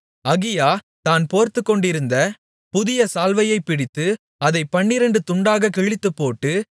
அகியா தான் போர்த்துக்கொண்டிருந்த புதிய சால்வையைப் பிடித்து அதைப் பன்னிரண்டு துண்டாகக் கிழித்துப்போட்டு